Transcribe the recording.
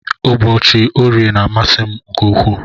Ụbọchi orie na amasi mu nke ukwu.